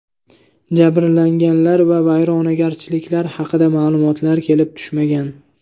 Jabrlanganlar va vayronagarchiliklar haqida ma’lumotlar kelib tushmagan.